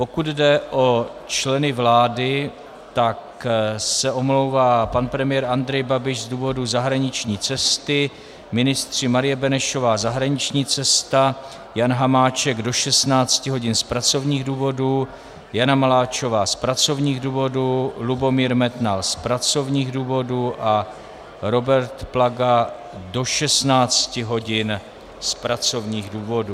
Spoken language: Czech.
Pokud jde o členy vlády, tak se omlouvá pan premiér Andrej Babiš z důvodu zahraniční cesty, ministři Marie Benešová - zahraniční cesta, Jan Hamáček do 16 hodin z pracovních důvodů, Jana Maláčová z pracovních důvodů, Lubomír Metnar z pracovních důvodů a Robert Plaga do 16 hodin z pracovních důvodů.